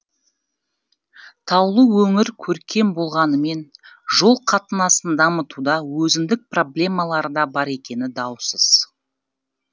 таулы өңір көркем болғанымен жол қатынасын дамытуда өзіндік проблемалары да бар екені даусыз